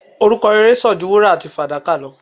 Orúkọ rere sàn ju wúrà àti fàdákà lọ